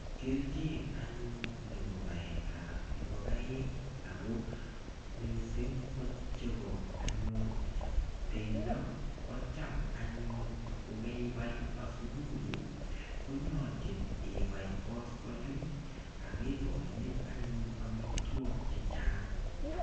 Kelchin anyun nebo baet ap ngokaik ako missing' kochebo anyun bendo ko cham anyun kokeibai asupui konyolchin ibai koskoling akekoini anyun amitwok che chang'